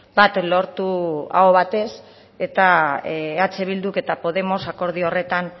bat lortu aho batez eta eh bilduk eta podemos akordio horretan